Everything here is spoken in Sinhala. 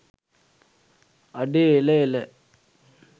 අඩේ එල එල